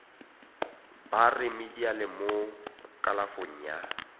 ba remediale mo kalafong ya